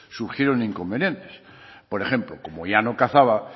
surgieron inconvenientes por ejemplo como ya no cazaba